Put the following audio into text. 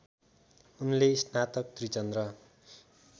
उनले स्नातक त्रिचन्द्र